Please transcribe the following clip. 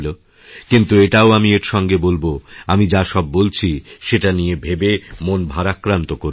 কিন্তু এটাও আমি এর সঙ্গে বলবো আমি যা সববলছি সেটা নিয়ে ভেবে মন ভারাক্রান্ত করবেন না